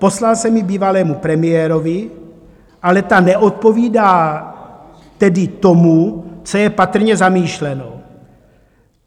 Poslal jsem ji bývalému premiérovi, ale ta neodpovídá tedy tomu, co je patrně zamýšleno.